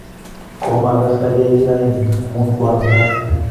Komakase takiyai ki raini amun kwaang'etat